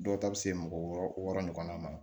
Dɔw ta bɛ se mɔgɔ wɔɔrɔ wɔɔrɔ ɲɔgɔnna ma